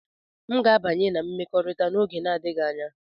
M ga-abanye na mmekọrịta n'oge adịghị anya.